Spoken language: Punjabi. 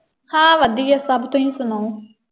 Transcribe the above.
ਹਾਂ। ਵਧੀਆ ਸਭ ਤੁਸੀਂ ਸੁਣਾਓ।